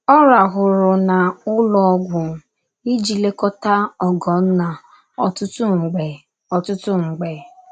Ọ rahụrụ n’ụlọ ọgwụ iji lekọta Ogonna ọtụtụ mgbe ọtụtụ mgbe.